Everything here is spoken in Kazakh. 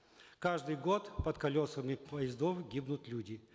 каждый год под колесами поездов гибнут люди